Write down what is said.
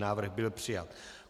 Návrh byl přijat.